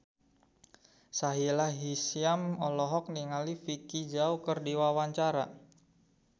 Sahila Hisyam olohok ningali Vicki Zao keur diwawancara